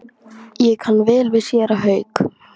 Ég kann vel við séra Hauk.